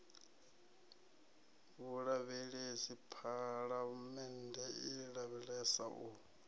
vhulavhelesi phalamennde i lavhelesa u